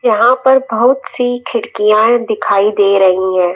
यहां पर बहुत सी खिड़कियांए दिखाई दे रही हैं।